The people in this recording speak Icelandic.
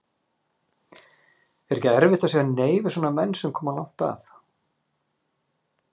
Er ekkert erfitt að segja nei við svona menn sem koma langt að?